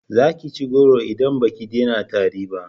za ki ci goro in baki dena tari ba!